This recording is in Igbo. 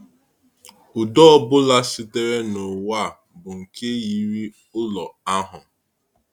Udo ọ bụla sitere n’ụwa a bụ nke yiri ụlọ ahụ.